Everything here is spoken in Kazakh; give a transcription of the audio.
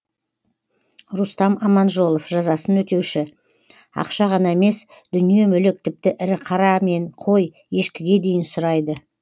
рустам аманжолов жазасын өтеуші ақша ғана емес дүние мүлік тіпті ірі қара мен қой ешкіге дейін сұрайды